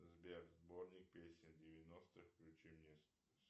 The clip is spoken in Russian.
сбер сборник песен девяностых включи мне